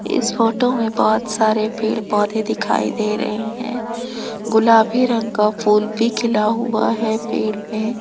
इस फोटो में बोहोत सारे पेड़ पौधे दिखाई दे रहे हैं गुलाबी रंग का फूल भी खिला हुआ है पेड़ में।